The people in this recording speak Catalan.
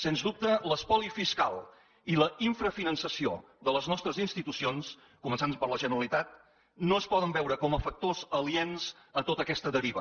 sens dubte l’espoli fiscal i l’infrafinançament de les nostres institucions començant per la generalitat no es poden veure com a factors aliens en tota aquesta deriva